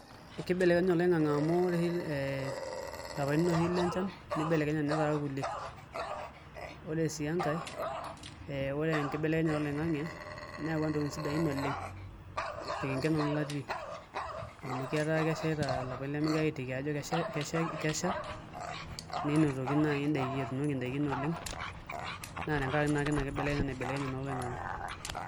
Ekeibelekenye oloingange amu ore oshi ee ilapaitin oshi lenchan neibepekenye netaa ilkulie ore sii enkae ee ore enkibelekenyata oloingange neyawua intokitin sidai oleng' torkerenge nanu nanu latii amu ketaa keshaita ilapaitin lemegirae aiteki Ajo kesha ke kesha ninotoki nai indaikin etuunoki ildaikin oleng' naa tenkaraki naake inakibelekenyata naibelekenye oloingange